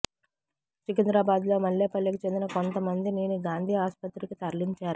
సికింద్రాబాదులోని మల్లేపల్లికి చెందిన కొంత మందిని గాంధీ ఆస్పత్రికి తరలించారు